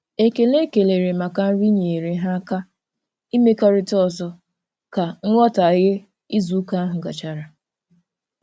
Ekele e kelere maka nri nyeere ha aka imekọrịta ọzọ ka nghọtaghie izuụka ahụ gachara.